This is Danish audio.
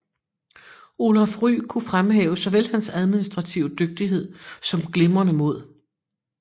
Olaf Rye kunne fremhæve såvel hans administrative dygtighed som glimrende mod